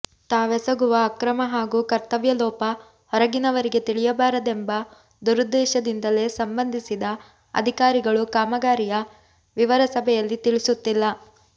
ತಾವೆಸಗುವ ಅಕ್ರಮ ಹಾಗೂ ಕರ್ತವ್ಯಲೋಪ ಹೊರಗಿನವರಿಗೆ ತಿಳಿಯಬಾರದೆಂಬ ದುರುದ್ದೇಶದಿಂದಲೇ ಸಂಬಂಧಿಸಿದ ಅಧಿಕಾರಿಗಳು ಕಾಮಗಾರಿಯ ವಿವರ ಸಭೆಯಲ್ಲಿ ತಿಳಿಸುತ್ತಿಲ್ಲ